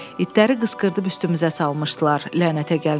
İtləri qışqırdıb üstümüzə salmışdılar, lənətə gəlmişlər.